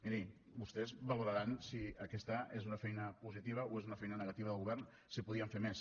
miri vostès valoraran si aquesta és una feina positiva o és una feina negativa del govern si podíem fer més